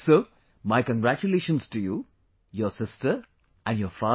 So my congratulations to you, your sister and your father